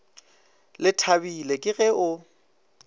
le thabile ke ge o